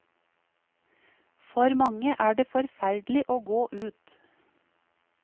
For mange er det forferdelig å gå ut.